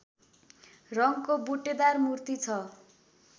रङको बुट्टेदार मूर्ति छ